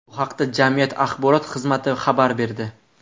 Bu haqda jamiyat axborot xizmati xabar berdi .